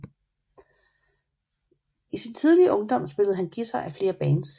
I sin tidlige ungdom spillede han guitar i flere bands